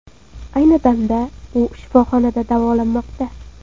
Ayni damda u shifoxonada davolanmoqda.